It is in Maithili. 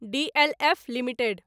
DLF limited